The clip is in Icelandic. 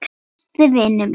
Besti vinur minn.